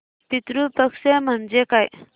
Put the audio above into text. पितृ पक्ष म्हणजे काय